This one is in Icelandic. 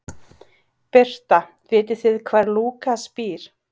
Birta: Vitið þið hvar Lúkas býr?